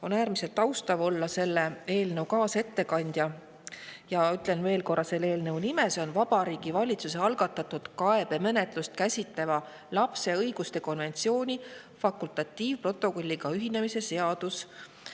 On äärmiselt austav olla selle eelnõu kaasettekandja ja ütlen veel korra selle nime: Vabariigi Valitsuse algatatud kaebemenetlust käsitleva lapse õiguste konventsiooni fakultatiivprotokolliga ühinemise seadus.